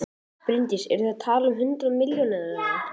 Bryndís: Eru þið að tala um hundruð milljóna eða?